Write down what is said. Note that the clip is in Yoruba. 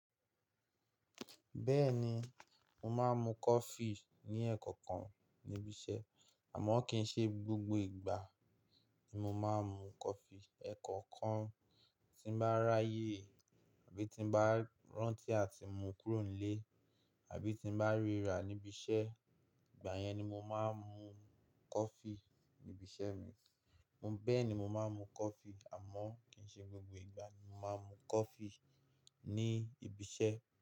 Bẹ́ẹ̀ni mo máa ń mu coffee ní ẹ́ẹ̀kọ̀kan níbi iṣẹ́, àmọ́ kì í ṣe gbogbo ìgbà ni mo máa ń mu coffee. Ẹ̀ẹ̀kọ̀kan tí mo bá ráyè àbí tí mo bá rántí láti mú kúrò nílé àbí tí mo bá ríra níbi iṣẹ́, ìgbà yẹn ni mo máa ń mu coffee ní ibi iṣẹ́ mi. Bẹ́ẹ̀ni mo máa ń mu coffee àmọ́ kì í ṣe gbogbo ìgbà ni mo máa ń mu coffee ní ibi iṣẹ́.